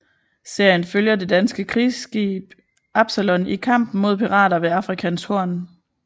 Serien følger det danske krigsskib Absalon i kampen mod pirater ved Afrikas Horn